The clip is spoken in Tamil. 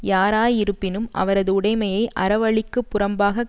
யாராயிருப்பினும் அவரது உடைமையை அறவழிக்கு புறம்பாகக்